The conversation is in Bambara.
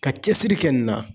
Ka cɛsiri kɛ nin na